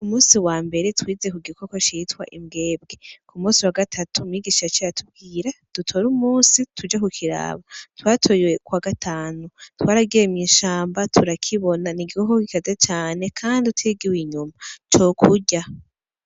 Umusi wa mbere twize ku gikoko citwa imbwebwe ku musi wa gatatu mwigisha co ya tubwira dutore umusi tuje ku kiraba twatoyekwa gatanu twaragemye inshamba turakibona ni igikokok gikaze cane, kandi utigiwe inyuma cokurya.